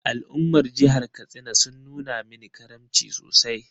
Al’ummar jihar Katsina sun nuna mini karamci sosai.